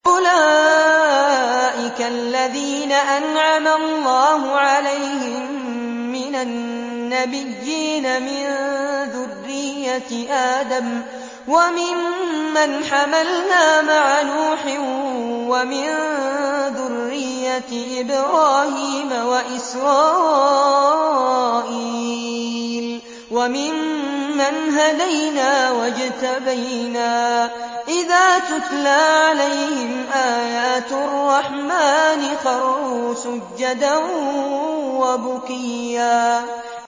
أُولَٰئِكَ الَّذِينَ أَنْعَمَ اللَّهُ عَلَيْهِم مِّنَ النَّبِيِّينَ مِن ذُرِّيَّةِ آدَمَ وَمِمَّنْ حَمَلْنَا مَعَ نُوحٍ وَمِن ذُرِّيَّةِ إِبْرَاهِيمَ وَإِسْرَائِيلَ وَمِمَّنْ هَدَيْنَا وَاجْتَبَيْنَا ۚ إِذَا تُتْلَىٰ عَلَيْهِمْ آيَاتُ الرَّحْمَٰنِ خَرُّوا سُجَّدًا وَبُكِيًّا ۩